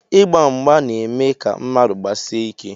Ịgba mgba na-eme ka mmadụ gbasie ike